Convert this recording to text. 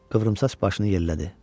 Qıvrımsaç başını yellədi.